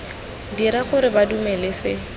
dira gore ba dumele se